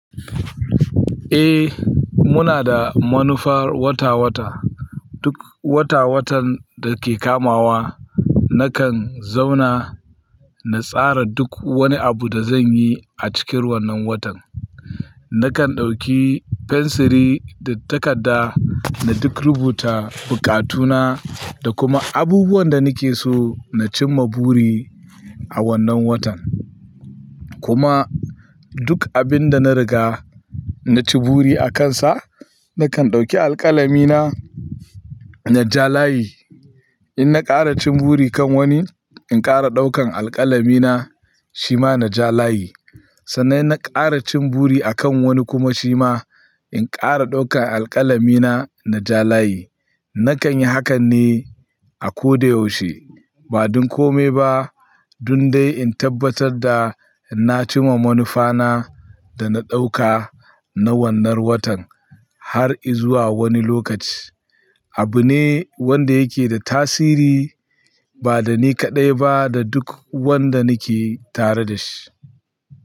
Eh, muna da manufar wata-wata. Duk wata-watan da ke kamawa nakan zauna na tsara duk wani abu da zan yi a cikin wannan watan. Nakan ɗauki fensiri da takarda na duk rubuta buƙatu na da kuma abubuwan da nake so na cimma buri a wannan watan. Kuma duk abin da na riga na ci buri akansa nakan ɗauki alƙalami na na ja layi. In na ƙara cin buri kan wani, in ƙara ɗaukan alƙalami na, shi ma na ja layi. Sannan in na ƙara cin buri akan wani kuma shi ma in ƙara ɗaukan alƙalami na, na ja layi. Nakan yi hakan ne a ko da yaushe. Ba don kome ba, dun dai in tabbatar da na cimma manufa na da na ɗauka na wannan watan har izuwa wani lokaci. Abu ne wanda yake da tasiri ba da ni kaɗai ba da duk wanda nake tare da shi.